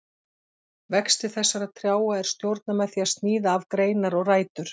Vexti þessara trjáa er stjórnað með því að sníða af greinar og rætur.